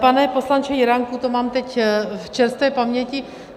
Pane poslanče Juránku, to mám teď v čerstvé paměti.